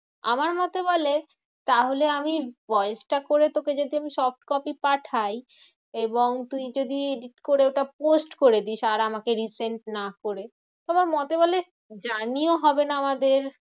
আমার মতে বলে, তাহলে আমি voice টা করে তোকে যদি আমি soft copy পাঠাই এবং তুই যদি edit করে ওটা post করে দিস আর আমাকে resent না করে। আমার মতে বলে জানিও হবে না আমাদের